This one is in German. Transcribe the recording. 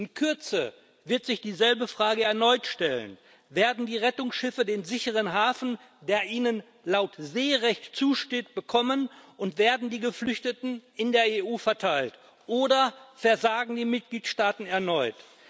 In Kürze wird sich dieselbe Frage erneut stellen Werden die Rettungsschiffe den sicheren Hafen, der ihnen laut Seerecht zusteht, bekommen und werden die Geflüchteten in der EU verteilt, oder versagen die Mitgliedstaaten erneut?